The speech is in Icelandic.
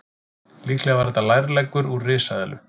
Líklega var þetta lærleggur úr risaeðlu.